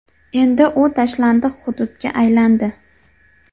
Endi u tashlandiq hududga aylandi.